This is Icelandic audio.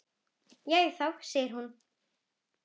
Jæja þá, segir hún.